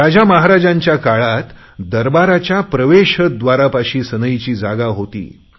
राजामहाराजांच्या काळात दरबाराच्या प्रवेशद्वारांपाशी सनईची जागा होती